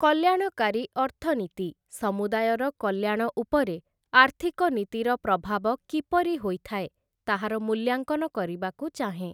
କଲ୍ୟାଣକାରୀ ଅର୍ଥନୀତି, ସମୁଦାୟର କଲ୍ୟାଣ ଉପରେ ଆର୍ଥିକ ନୀତିର ପ୍ରଭାବ କିପରି ହୋଇଥାଏ, ତାହାର ମୂଲ୍ୟାଙ୍କନ କରିବାକୁ ଚାହେଁ ।